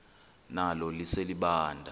nalo lise libaha